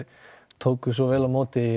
tóku svo vel á móti